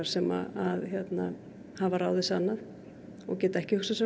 sem hafa ráðið sig annað og geta ekki hugsað sér